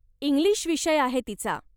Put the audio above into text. English विषय आहे तिचा.